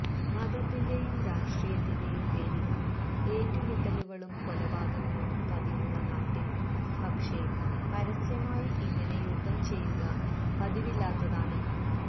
മതത്തിന്റെയും രാഷ്ട്രീയത്തിന്റെയും പേരില് ഏറ്റുമുട്ടലുകളും കൊലപാതകങ്ങളും പതിവുള്ള നാട്ടില് പക്ഷേ പരസ്യമായി ഇങ്ങനെ യുദ്ധം ചെയ്യുക പതിവില്ലാത്തതാണ്